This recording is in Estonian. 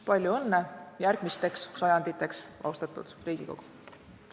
Palju õnne järgmisteks sajanditeks, austatud Riigikogu!